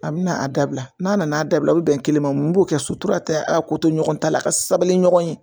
A bɛ na a dabila n'a nana a dabila o bɛ bɛn kelen ma n b'o kɛ sotura tɛ a ko to ɲɔgɔn ta la a ka sabali ɲɔgɔn ye